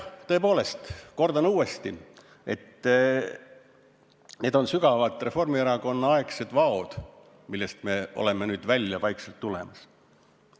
Tõepoolest, kordan uuesti, et need on sügavad Reformierakonna-aegsed vaod, millest me oleme nüüd vaikselt välja tulemas.